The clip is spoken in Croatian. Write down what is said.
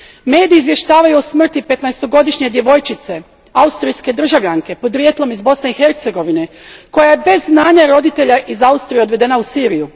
Mediji izvještavaju o smrti petnaestogodišnje djevojčice, austrijske državljanke, podrijetlom iz Bosne i Hercegovine, koja je bez znanja roditelja iz Austrije odvedena u Siriju.